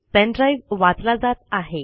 pen drive वाचला जात आहे